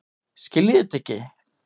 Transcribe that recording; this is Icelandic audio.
Skiljiði þetta ekki?